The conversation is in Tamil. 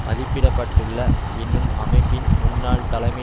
மதிப்பிட பட்டுள்ள என்னும் அமைப்பின் முன்னாள் தலைமை